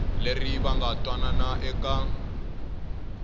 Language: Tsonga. leri va nga twanana eka